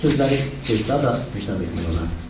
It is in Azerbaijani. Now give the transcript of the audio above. Bu sözləri istehza da hesab etmək olardı.